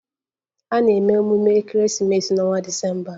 A na-eme emume ekeresimesi n'ọnwa Disemba.